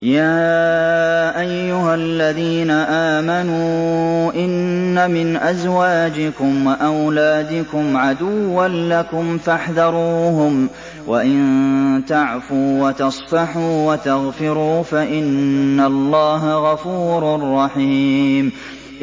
يَا أَيُّهَا الَّذِينَ آمَنُوا إِنَّ مِنْ أَزْوَاجِكُمْ وَأَوْلَادِكُمْ عَدُوًّا لَّكُمْ فَاحْذَرُوهُمْ ۚ وَإِن تَعْفُوا وَتَصْفَحُوا وَتَغْفِرُوا فَإِنَّ اللَّهَ غَفُورٌ رَّحِيمٌ